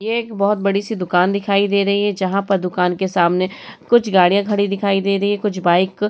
यह एक बोहोत बड़ी सी दुकान दिखाई दे रही है। जहां पर दुकान के सामने कुछ गाड़ियां खड़ी दिखाई दे रही हैं कुछ बाइक --